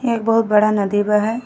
एक बहुत बड़ा नदी बा है।